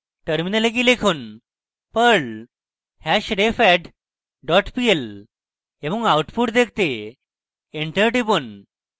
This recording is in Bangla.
terminal গিয়ে লিখুন: perl hashrefadd dot pl এবং output দেখতে enter টিপুন